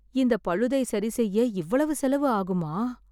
இந்த பழுதை சரி செய்ய இவ்வளவு செலவு ஆகுமா?